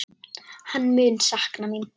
Hann mun sakna mín.